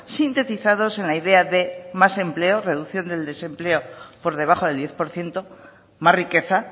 sintetizados en la idea de más empleo reducción del desempleo por debajo del diez por ciento más riqueza